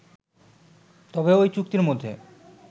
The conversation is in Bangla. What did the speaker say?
তবে ঐ চুক্তির মধ্যে